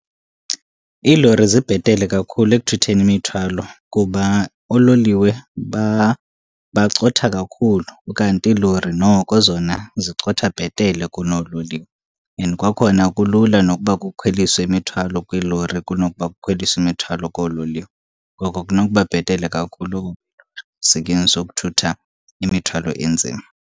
Iilori zibhetele kakhulu ekuthutheni imithwalo kuba oololiwe bacotha kakhulu, ukanti iilori noko zona zicotha bhetele kunoololiwe. And kwakhona kulula nokuba kukhweliswe imithwalo kwiilori kunokuba kukhweliswe imithwalo koololiwe. Ngoko kunokuba bhetele kakhulu ukusetyenziswa ukuthutha imithwalo enzima.